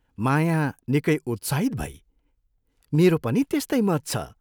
माया निकै उत्साहित भई " मेरो पनि त्यस्तै मत छ।